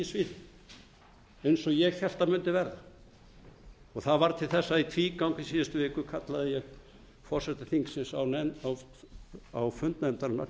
sviðið eins og ég hélt að mundi verða og það varð til þess að í tvígang í síðustu viku kallaði ég forseta þingsins á fund nefndarinnar